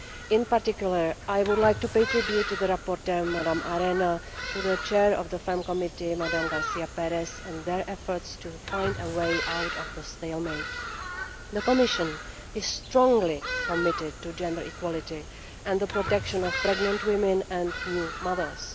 In particular I would like to pay tribute to the rapporteur, Mrs Arena, and to the Chair of the FEMM Committee, Mrs García Pérez, and to their efforts to find a way out of the stalemate. The Commission is strongly committed to gender equality and the protection of pregnant women and new mothers.